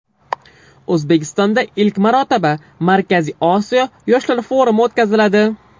O‘zbekistonda ilk marotaba Markaziy Osiyo yoshlar forumi o‘tkaziladi.